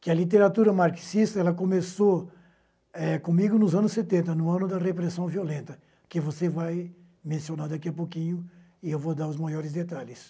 Que a literatura marxista ela começou comigo eh nos anos setenta, no ano da repressão violenta, que você vai mencionar daqui a pouquinho e eu vou dar os maiores detalhes.